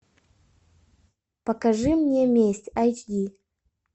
покажи мне месть айч ди